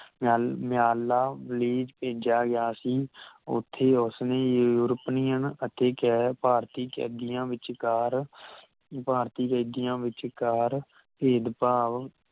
ਮੇਆਲ ਮਯਾਲਾ ਭੇਜਿਆ ਗਿਆ ਸੀ ਓਥੇ ਉਸਨੇ ਯੂਰੋਪਨੀਅਨ ਅਤੇ ਗੈਰ ਭਾਰਤੀ ਕੈਦੀਆਂ ਵਿਚਕਾਰ ਭਾਰਤੀ ਕੈਦੀਆਂ ਵਿਚਕਾਰ ਭੇਦ ਭਾਵ